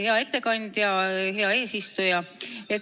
Hea ettekandja!